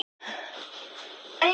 Það gekk líka allt vel.